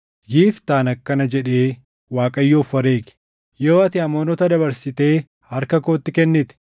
Yiftaan akkana jedhee Waaqayyoof wareege; “Yoo ati Amoonota dabarsitee harka kootti kennite,